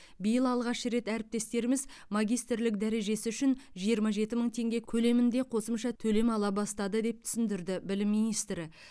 биыл алғаш рет әріптестеріміз магистрлік дәрежесі үшін жиырма жеті мың теңге көлемінде қосымша төлем ала бастады деп түсіндірді білім министрі